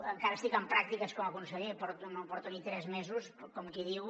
encara estic en pràctiques com a conseller no porto ni tres mesos com qui diu